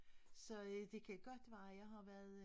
Så øh det kan godt være jeg har været øh